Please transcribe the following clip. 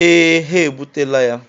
Ee, ha ebutela ya.